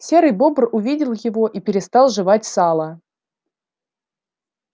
серый бобр увидел его и перестал жевать сало